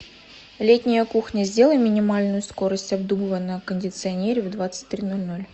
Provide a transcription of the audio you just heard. летняя кухня сделай минимальную скорость обдува на кондиционере в двадцать три ноль ноль